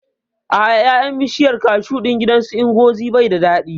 A'a, ƴaƴan bishiyar kashu ɗin gidan su Ngozi bai da daɗi